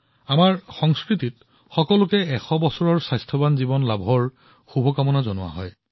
আমাৰ সংস্কৃতিত সকলোকে শত বছৰৰ স্বাস্থ্যৱান জীৱনৰ বাবে কামনা কৰা হয়